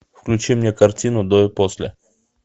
включи мне картину до и после